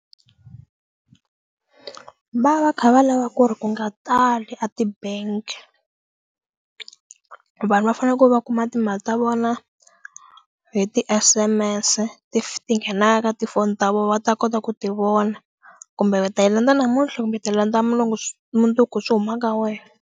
Va va kha va lava ku ri ku nga tali a ti-bank-i vanhu va fanele ku va kuma timali ta vona hi ti S_M_S ti nghenaka tifoni ta vona va ta kota ku ti vona kumbe ta yi landza namuntlha kumbe ti landza mulungu mundzuku swi huma ka wena.